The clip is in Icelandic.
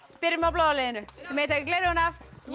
byrjum á bláa liðinu þið megið taka gleraugun af